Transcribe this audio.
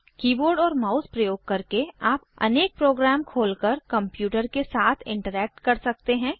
keyboard और mouse प्रयोग करके आप अनेक प्रोग्राम खोलकर कंप्यूटर के साथ इंटरैक्ट कर सकते हैं